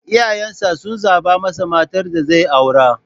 Iyayen sa sun zaba masa matar da zai aura